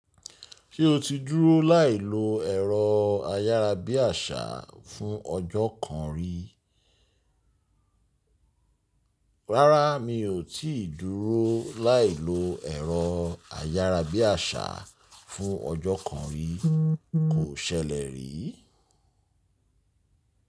Ṣé o ti dúró láì lo ẹ̀rọ ayárabíàṣá fún ọjọ́ kan rí? Rárá, mi ò tíì dúró láì lo ẹ̀rọ ayárabíàṣá fún ọjọ́ kan rí. Kò ṣẹlẹ̀ rí.